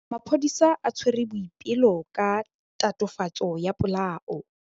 Maphodisa a tshwere Boipelo ka tatofatsô ya polaô.